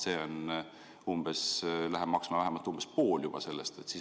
See läheb maksma vähemalt umbes pool sellest.